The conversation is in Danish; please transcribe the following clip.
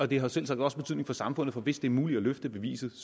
det har selvsagt også betydning for samfundet for hvis det er muligt at løfte bevisbyrden